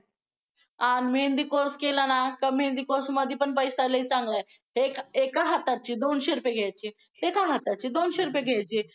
अं मेहंदी course केला न मेहंदी course मधे पैसा लय चांगला आहे एका हथाचे दोनशे रुपय घेयचे एका हथाचे दोनशे रुपय घेयचे